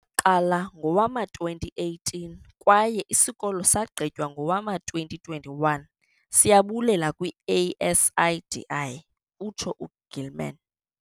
"qala ngowama-2018 kwaye isikolo sagqitywa ngowama-2021, siyabulela kwi-ASIDI," utsho u-Gilman.